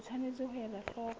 o tshwanetse ho ela hloko